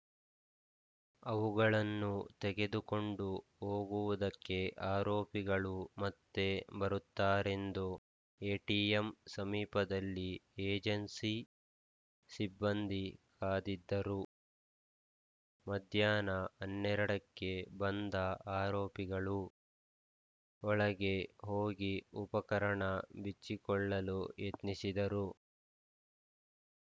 ಅವುಗಳನ್ನು ತೆಗೆದುಕೊಂಡು ಹೋಗುವುದಕ್ಕೆ ಆರೋಪಿಗಳು ಮತ್ತೆ ಬರುತ್ತಾರೆಂದು ಎಟಿಎಂ ಸಮೀಪದಲ್ಲೇ ಏಜೆನ್ಸಿ ಸಿಬ್ಬಂದಿ ಕಾದಿದ್ದರು ಮಧ್ಯಾಹ್ನ ಹನ್ನೆರಡಕ್ಕೆ ಬಂದ ಆರೋಪಿಗಳು ಒಳಗೆ ಹೋಗಿ ಉಪಕರಣ ಬಿಚ್ಚಿಕೊಳ್ಳಲು ಯತ್ನಿಸಿದರು